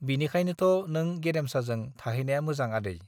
बिनिखायनोथ नों गेरेमसाजों थाहैनाया मोजां आदै।